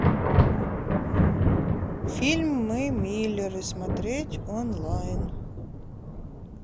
фильм мы миллеры смотреть онлайн